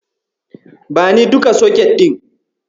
Bani duka soket ɗin.